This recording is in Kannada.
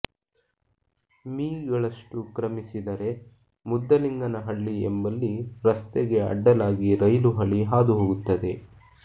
ಮೀ ಗಳಷ್ಟು ಕ್ರಮಿಸಿದರೆ ಮುದ್ದಲಿಂಗನ ಹಳ್ಳಿ ಎಂಬಲ್ಲಿ ರಸ್ತೆಗೆ ಅಡ್ಡಲಾಗಿ ರೈಲು ಹಳಿ ಹಾದುಹೋಗುತ್ತದೆ